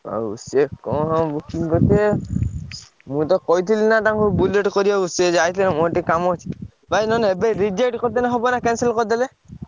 ଆଉ ସିଏ କଣ booking କରିଥିବେ। ମୁଁ ତ କହିଥିଲି ନା ତାଙ୍କୁ Bullet କରିବାକୁ ସେ ଯାଇଥିଲେ ମୋର ଟିକେ କାମ ଅଛି ଭାଇ ନହେଲେ ଏବେ reject କରିଦେଲେ ହବ ନା cancel କରିଦେଲେ?